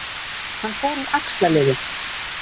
Hann fór úr axlarliði